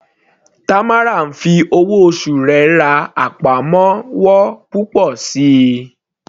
Tamara ń fi owó oṣù rẹ̀ ra àpamọ́wọ́ púpọ̀ síi.